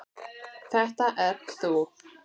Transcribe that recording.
Þetta ert þú.